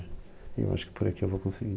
E eu acho que por aqui eu vou conseguir.